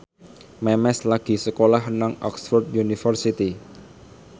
Memes lagi sekolah nang Oxford university